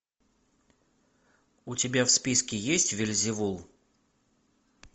у тебя в списке есть вельзевул